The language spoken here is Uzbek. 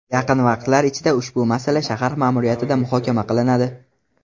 Yaqin vaqtlar ichida ushbu masala shahar ma’muriyatida muhokama qilinadi.